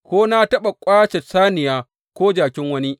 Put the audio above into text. Ko na taɓa ƙwace saniya ko jakin wani?